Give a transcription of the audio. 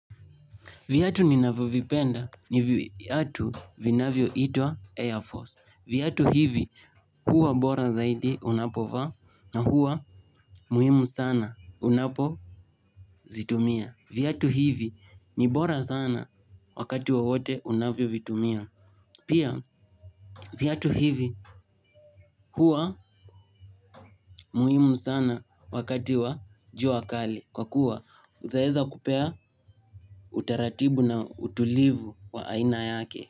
Viatu ninavyo vipenda ni viatu vinavyo itwa Air Force. Viatu hivi huwa bora zaidi unapovaa na huwa muhimu sana unapo zitumia. Viatu hivi ni bora sana wakati wowote unavyo vitumia. Pia viatu hivi huwa muhimu sana wakati wa jua kali kwa kuwa unaeza kupea utaratibu na utulivu wa aina yake.